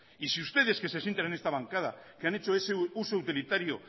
y si ustedes que se sientan en esta bancada que han hecho ese uso utilitario